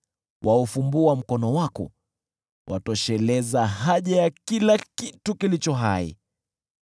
Waufumbua mkono wako, watosheleza haja ya kila kitu kilicho hai.